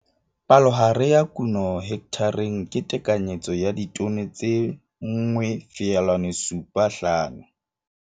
Palohare ya kuno hekthareng ke tekanyetso ya ditone tse 1,75.